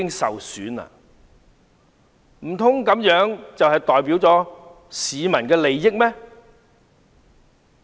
難道他們這樣做是代表市民的利益嗎？